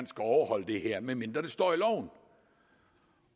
skal overholde det her medmindre det står i loven